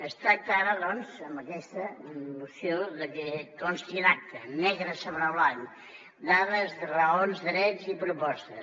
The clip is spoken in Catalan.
es tracta ara doncs amb aquesta moció de que consti en acta negre sobre blanc dades raons drets i propostes